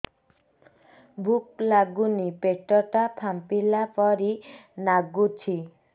ଭୁକ ଲାଗୁନି ପେଟ ଟା ଫାମ୍ପିଲା ପରି ନାଗୁଚି